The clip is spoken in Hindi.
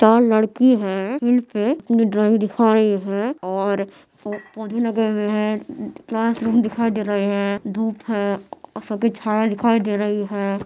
चार लड़की है अपनी ड्रॉइंग दिखा रही है और पो - पौधे लगे हुए है क्लासरूम दिखाई दे रहे है धूप है और सफ़ेद् छाया दिखाई दे रही है।